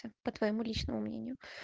это по твоему личному мнению